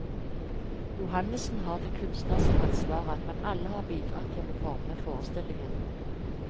Johannessen har det kunstneriske ansvaret, men alle har bidratt til å forme forestillingen.